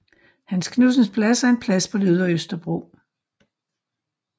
Hans Knudsens Plads er en plads på Ydre Østerbro